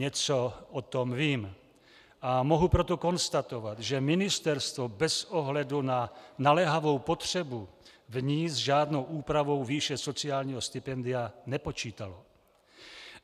Něco o tom vím, a mohu proto konstatovat, že ministerstvo bez ohledu na naléhavou potřebu v ní s žádnou úpravou výše sociálního stipendia nepočítalo.